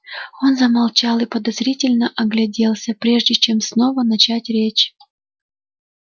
он замолчал и подозрительно огляделся прежде чем снова начать речь